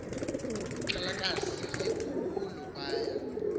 xhalakazi likhulu baya